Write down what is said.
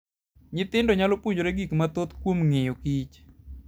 Nyithindo nyalo puonjore gik mathoth kuom ng'iyokich.